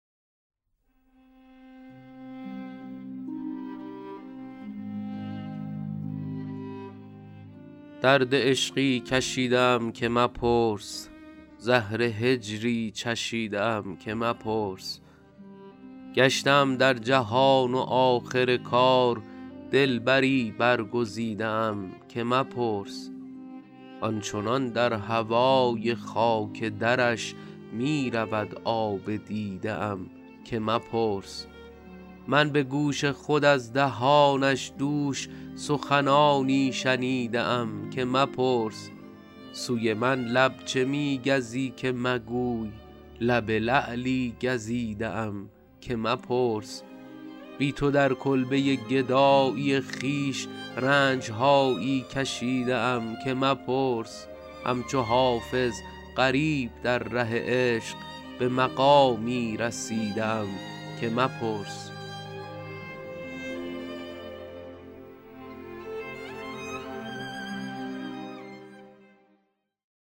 درد عشقی کشیده ام که مپرس زهر هجری چشیده ام که مپرس گشته ام در جهان و آخر کار دلبری برگزیده ام که مپرس آن چنان در هوای خاک درش می رود آب دیده ام که مپرس من به گوش خود از دهانش دوش سخنانی شنیده ام که مپرس سوی من لب چه می گزی که مگوی لب لعلی گزیده ام که مپرس بی تو در کلبه گدایی خویش رنج هایی کشیده ام که مپرس همچو حافظ غریب در ره عشق به مقامی رسیده ام که مپرس